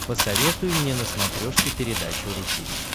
посоветуй мне на смотрешке передачу ру ти ви